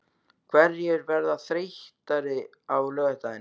Hverjir verða þreyttari á laugardaginn?